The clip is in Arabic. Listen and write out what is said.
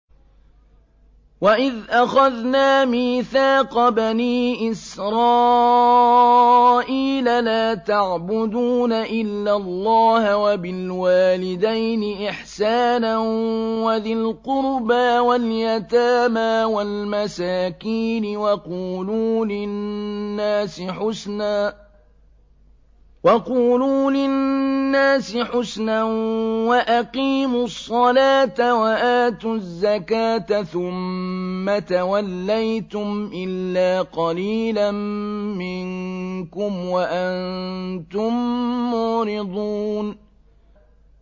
وَإِذْ أَخَذْنَا مِيثَاقَ بَنِي إِسْرَائِيلَ لَا تَعْبُدُونَ إِلَّا اللَّهَ وَبِالْوَالِدَيْنِ إِحْسَانًا وَذِي الْقُرْبَىٰ وَالْيَتَامَىٰ وَالْمَسَاكِينِ وَقُولُوا لِلنَّاسِ حُسْنًا وَأَقِيمُوا الصَّلَاةَ وَآتُوا الزَّكَاةَ ثُمَّ تَوَلَّيْتُمْ إِلَّا قَلِيلًا مِّنكُمْ وَأَنتُم مُّعْرِضُونَ